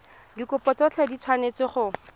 dikopo tsotlhe di tshwanetse go